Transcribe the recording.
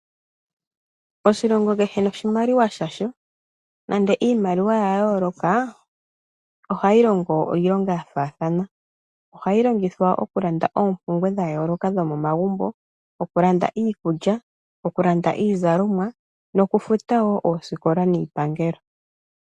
Oshilongo kehe noshimaliwa shasho. Nenge iimaliwa oya yooloka ohayi longo iilonga ya faathana. Ohayi longithwa okulanda oompumbwe dha yoolokathana dhomomagumbo, okulanda iikulya, okulanda iizalomwa nokufuta wo oosikola niipangelo.